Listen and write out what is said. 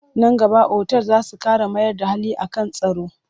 Nan gaba otal za su ƙara mayar da hankali a kan tsaro.